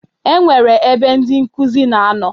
E nwere ebe ndị nkuzi na ano.